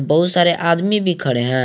बहुत सारे आदमी भी खड़े हैं।